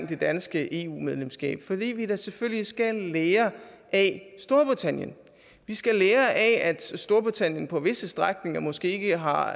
det danske eu medlemskab fordi vi da selvfølgelig skal lære af storbritannien vi skal lære af storbritannien på visse strækninger måske ikke har